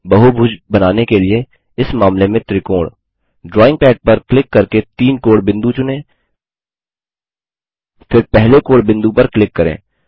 बहुभुज बनाने के लिए इस मामले में त्रिकोण ड्राइंग पैड पर क्लिक करके तीन कोणबिंदु चुनें फिर पहले कोणबिंदु पर क्लिक करें